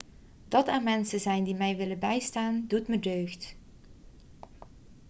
dat er mensen zijn die mij willen bijstaan doet me deugd